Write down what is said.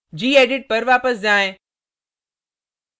gedit पर वापस जाएँ